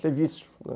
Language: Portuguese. Isso é vício, né.